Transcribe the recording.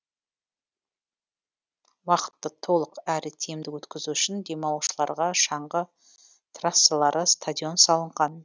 уақытты толық әрі тиімді өткізу үшін демалушыларға шаңғы трассалары стадион салынған